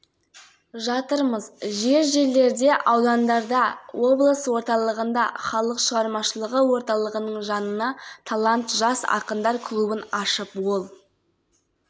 олардың ішінде абылайхан алаңы ерейментау ауданында құмай археологиялық кешені қорғалжын ауданында көптеген объектілер жүзеге асырылуда сонымен